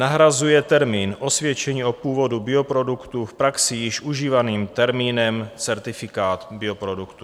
Nahrazuje termín osvědčení o původu bioproduktů v praxi již užívaným termínem certifikát bioproduktů.